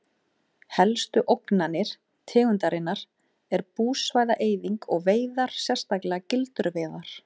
Helstu ógnanir tegundarinnar er búsvæða-eyðing og veiðar sérstaklega gildruveiðar.